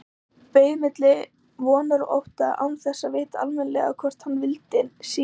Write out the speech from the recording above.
Beið milli vonar og ótta, án þess að vita almennilega hvort hann vildi síður að